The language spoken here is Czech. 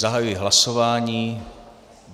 Zahajuji hlasování.